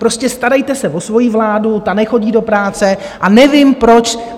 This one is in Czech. Prostě starejte se o svoji vládu, ta nechodí do práce a nevím, proč...